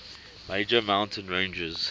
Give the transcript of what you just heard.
major mountain ranges